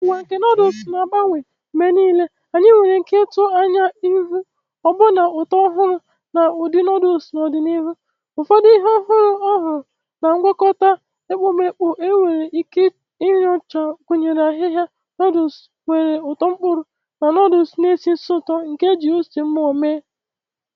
Ụwa nke noodles na-agbanwe mgbe niile, anyị nwere ike ịtụ anya ịhụ ọbụna ụtọ ọhụrụ na ụdị noodles n'ọdịnihu. Ụfọdụ ihe ọhụrụ ọhụrụ na ngwakọta ekpomeekpo enwere ike inyocha gụnyere ahịhịa, noodles nwere ụtọ mkpụrụ, na noodles na-esi ísì ụtọ nke e ji ose mmụọ mee..